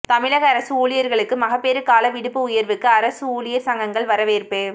தமிழக அரசு ஊழியர்களுக்கு மகப்பேறு கால விடுப்பு உயர்வுக்கு அரசு ஊழியர் சங்கங்கள் வரவேற்பு